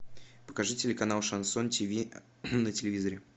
покажи телеканал шансон ти ви на телевизоре